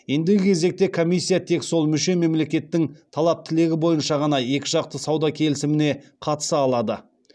ендігі кезекте комиссия тек сол мүше мемлекеттің талап тілегі бойынша ғана екіжақты сауда келісіміне қатыса алады